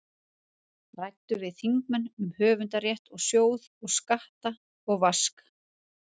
Ræddu við þingmenn um höfundarrétt og sjóð og skatt og vask.